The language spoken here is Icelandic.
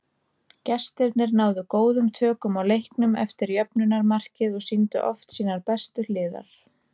Gestirnir náðu góðum tökum á leiknum eftir jöfnunarmarkið og sýndu oft sínar bestu hliðar.